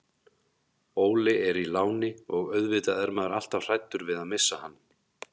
Óli er í láni og auðvitað er maður alltaf hræddur við að missa hann.